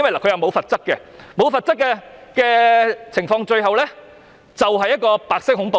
在沒有罰則的情況下，最後可能造成白色恐怖。